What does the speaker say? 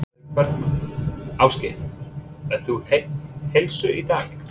Sólveig Bergmann: Ásgeir, ert þú heill heilsu í dag?